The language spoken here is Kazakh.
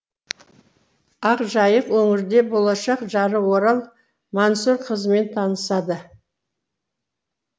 ақжайық өңірінде болашақ жары орал мансұрқызымен танысады